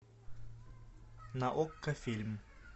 на окко фильм